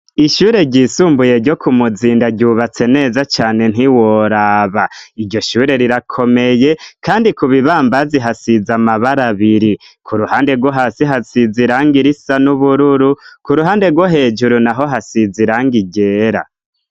Ishure ryisumbuye ryo ku muzinda ryubatse neza cane ntiworaba iryo shure rirakomeye kandi ku bibambazi hasize amabara abiri ku ruhande gwo hasi hasize irangi risa n'ubururu ku ruhande wo hejuru naho hasize irangi ryera.